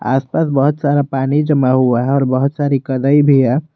आस पास बहुत सारा पानी जमा हुआ है और बहुत सारी कनई भी है।